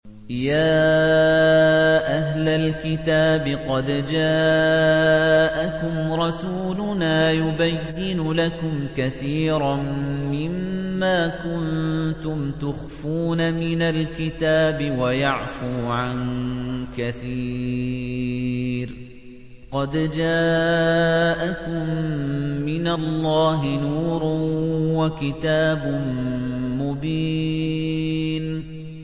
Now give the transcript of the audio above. يَا أَهْلَ الْكِتَابِ قَدْ جَاءَكُمْ رَسُولُنَا يُبَيِّنُ لَكُمْ كَثِيرًا مِّمَّا كُنتُمْ تُخْفُونَ مِنَ الْكِتَابِ وَيَعْفُو عَن كَثِيرٍ ۚ قَدْ جَاءَكُم مِّنَ اللَّهِ نُورٌ وَكِتَابٌ مُّبِينٌ